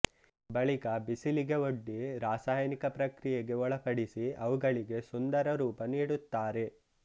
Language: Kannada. ಬಳಿಕ ಬಿಸಿಲಿಗೆ ಒಡ್ಡಿ ರಾಸಾಯನಿಕ ಪ್ರಕ್ರಿಯೆಗೆ ಒಳಪಡಿಸಿ ಅವುಗಳಿಗೆ ಸುಂದರ ರೂಪ ನೀಡುತ್ತಾರೆ